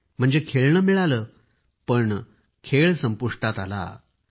म्हणजे खेळणे मिळाले परंतु खेळ मात्र संपुष्टात आला होता